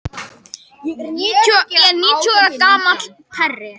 En að lokum var öllum sleppt nema þremur.